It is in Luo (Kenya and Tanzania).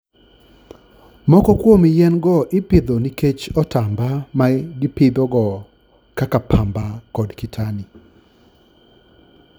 Moko kuom yien-go ipidho nikech otamba ma gipidhogo, kaka pamba kod kitani.